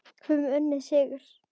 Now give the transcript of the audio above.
Höfum unnið sigur.